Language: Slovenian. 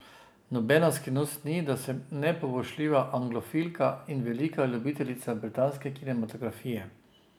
Nobena skrivnost ni, da sem nepoboljšljiva anglofilka in velika ljubiteljica britanske kinematografije.